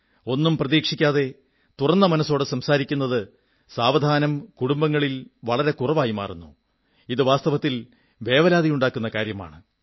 ഒന്നും പ്രതീക്ഷിക്കാതെ തുറന്നമനസ്സോടെ സംസാരിക്കുന്നത് സാവധാനം കുടുംബങ്ങളിൽ വളരെ കുറവായി മാറുന്നു ഇത് വാസ്തവത്തിൽ വേവലാതിയുണ്ടാക്കുന്ന കാര്യമാണ്